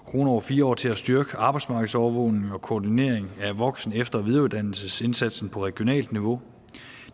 kroner over fire år til at styrke arbejdsmarkedsovervågning og koordinering af voksen efter og videreuddannelsesindsatsen på regionalt niveau